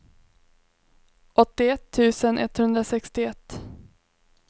åttioett tusen etthundrasextioett